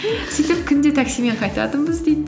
сөйтіп күнде таксимен қайтатынбыз дейді